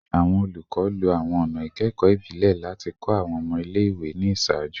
Awọn olukọ, lo awọn ọna ẹkọ ibile lati kọ awọn ọmọ ile-iwe ni iṣaaju